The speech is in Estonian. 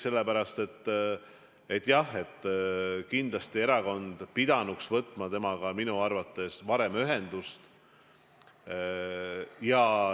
Sellepärast, et jah, kindlasti erakond pidanuks võtma temaga ühendust varem.